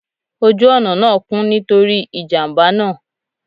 Oju ọna naa kún, nitori ijamba naa.